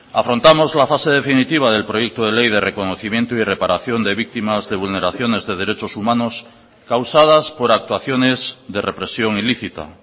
afrontamos la fase definitiva del proyecto de ley de reconocimiento y reparación de víctimas de vulneraciones de derechos humanos causadas por actuaciones de represión ilícita